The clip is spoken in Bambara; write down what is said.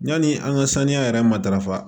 Yani an ka saniya yɛrɛ matarafa